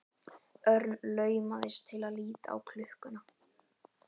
Örn laumaðist til að líta á klukkuna.